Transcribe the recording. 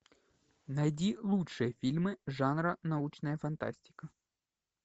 найди лучшие фильмы жанра научная фантастика